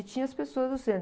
E tinha as pessoas do centro.